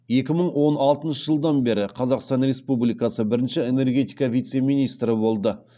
екі мың он алтыншы жылдан бері қазақстан республикасы бірінші энергетика вице министрі болды